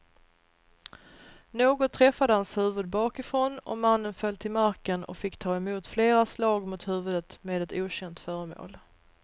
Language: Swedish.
Något träffade hans huvud bakifrån och mannen föll till marken och fick ta emot flera slag mot huvudet med ett okänt föremål.